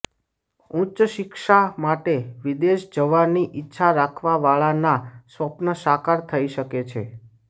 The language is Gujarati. ઉચ્ચ શિક્ષા માટે વિદેશ જવાની ઈચ્છા રાખવા વાળા ના સ્વપ્ન સાકાર થઇ શકે છે